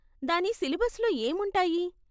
దాని సిలబస్లో ఏం ఉంటాయి?